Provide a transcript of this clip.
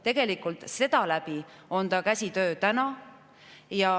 Tegelikult on see käsitsitöö.